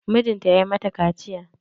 Mijinta ya mata kaciya.